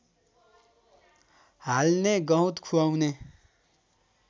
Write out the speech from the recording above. हाल्ने गहुँत खुवाउने